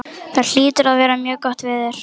Það hlýtur að vera mjög gott veður.